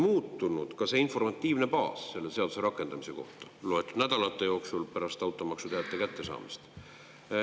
Loetud nädalate jooksul, pärast automaksuteate kättesaamist on oluliselt muutunud selle seaduse rakendamise informatiivne baas.